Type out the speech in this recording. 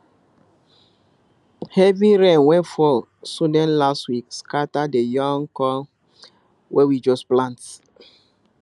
heavy rain wey fall sudden last week scatter the young corn wey we just plant